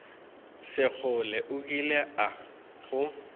sekgole o kile a go